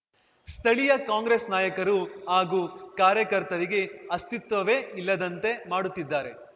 ಸ್ಥಳೀಯ ಕಾಂಗ್ರೆಸ್‌ ನಾಯಕರು ಹಾಗೂ ಕಾರ್ಯಕರ್ತರಿಗೆ ಅಸ್ತಿತ್ವವೇ ಇಲ್ಲದಂತೆ ಮಾಡುತ್ತಿದ್ದಾರೆ